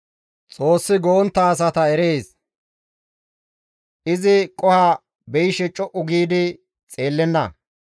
Xoossi go7ontta asata erees; izi qoho beyishe co7u giidi xeellenna.